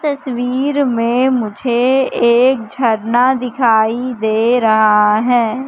तस्वीर में मुझे एक झरना दिखाई दे रहा है।